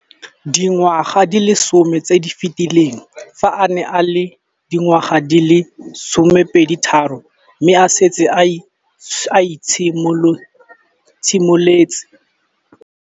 Dingwaga di le 10 tse di fetileng, fa a ne a le dingwaga di le 23 mme a setse a itshimoletse.